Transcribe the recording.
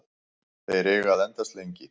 Þeir eiga að endast lengi.